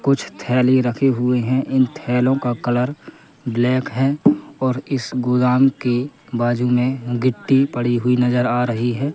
कुछ थैली रखे हुए हैं इन थैलों का कलर ब्लैक है और इस गोदाम के बाजू में गिट्टी पड़ी हुई नजर आ रही है।